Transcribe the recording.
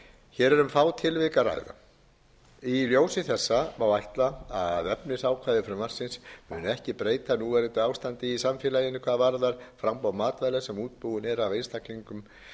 hér er um fá tilvik að ræða í ljósi þessa má ætla að efnisákvæði frumvarpsins muni ekki breyta núverandi ástandi í samfélaginu hvað varðar framboð matvæla sem útbúin eru af einstaklingum